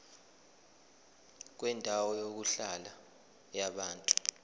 kwendawo yokuhlala yabantu